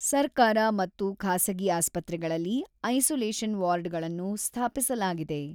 ಸರ್ಕಾರ ಮತ್ತು ಖಾಸಗಿ ಆಸ್ಪತ್ರೆಗಳಲ್ಲಿ ಐಸೋಲೇಷನ್ ವಾರ್ಡ್‌ಗಳನ್ನು ಸ್ಥಾಪಿಸಲಾಗಿದೆ.